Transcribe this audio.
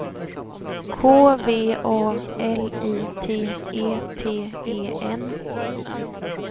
K V A L I T E T E N